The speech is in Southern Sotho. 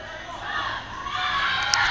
tjhonneng ha a ka a